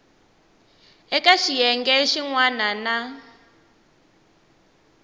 eka xiyenge xin wana na